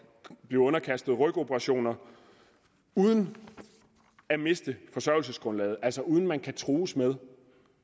blive underkastet rygoperationer uden at miste forsørgelsesgrundlaget altså uden at man kan trues med